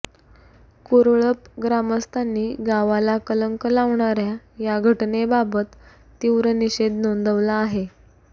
कुरळप ग्रामस्थांनी गावाला कलंक लावणाऱ्या या घटनेबाबत तीव्र निषेध नोंदवला आहे